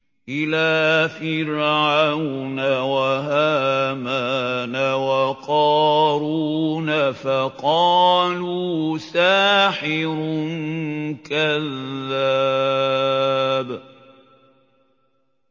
إِلَىٰ فِرْعَوْنَ وَهَامَانَ وَقَارُونَ فَقَالُوا سَاحِرٌ كَذَّابٌ